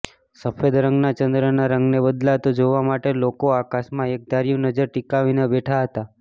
સફેદ રંગના ચંદ્રના રંગને બદલાતો જોવા માટે લોકો આકાશમાં એકધાર્યુ નજર ટીકાવીને બેઠા હતાં